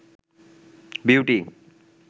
beauty